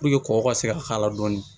kɔkɔ ka se ka k'a la dɔɔnin